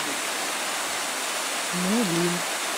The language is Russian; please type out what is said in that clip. мулин